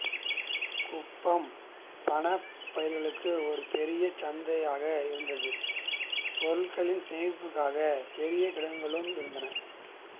குப்பம் பணப் பயிர்களுக்கு ஒரு பெரும் சந்தையாக இருந்தது பொருட்களின் சேமிப்பிற்காக பெரிய கிடங்குகளும் இருந்தன